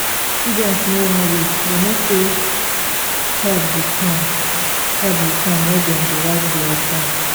student no wan read dem know sey help go come help go come when dem dey write di exam